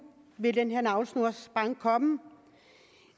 ville den her navlesnorsbank komme